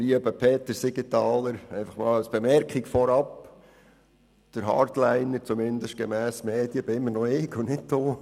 Lieber Peter Siegenthaler, eine Bemerkung vorab: Der Hardliner – zumindest gemäss Medien – bin immer noch ich und nicht Sie!